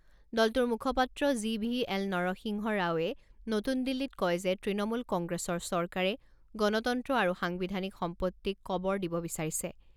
দলটোৰ মুখপাত্ৰ G V L Narasimha ৰাওৱে নতুন দিল্লীত কয় যে তৃণমূল কংগ্ৰেছৰ চৰকাৰে গণতন্ত্ৰ আৰু সাংবিধানিক সম্পত্তিক কবৰ দিব বিচাৰিছে।